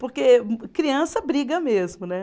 Porque criança briga mesmo, né?